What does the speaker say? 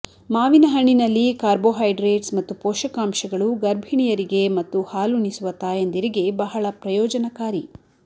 ಮಾವಿನ ಹಣ್ಣಿನಲ್ಲಿ ಕಾರ್ಬೋಹೈಡ್ರೇಟ್ಸ್ ಮತ್ತು ಪೋಷಕಾಂಶಗಳು ಗರ್ಭಿಣಿಯರಿಗೆ ಮತ್ತು ಹಾಲುಣಿಸುವ ತಾಯಂದಿರಿಗೆ ಬಹಳ ಪ್ರಯೋಜನಕಾರಿ